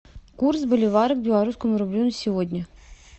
курс боливара к белорусскому рублю на сегодня